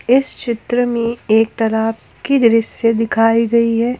इस चित्र में एक तालाब की दृश्य दिखाई गई है।